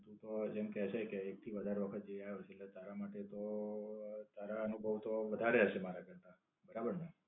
લોકો જેમ કે છે કે, એક થી વધારે હોટેલ જઈ આવ્યા છે એટલે તારા માટે તો તારા અનુભવ તો વધારે હશે મારા કરતા. બરાબર ને?